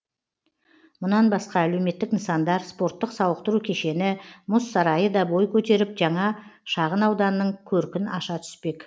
мұнан басқа әлеуметтік нысандар спорттық сауықтыру кешені мұз сарайы да бой көтеріп жаңа шағынауданның көркін аша түспек